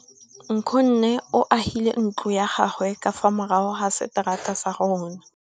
Nkgonne o agile ntlo ya gagwe ka fa morago ga seterata sa rona.